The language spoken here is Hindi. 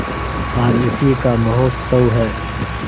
आज उसी का महोत्सव है